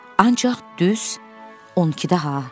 Ancaq düz on ikidə ha.